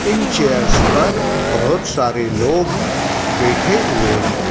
इन chairs पर बहुत सारे लोग बैठे हुए हैं।